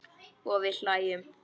Og við hlæjum.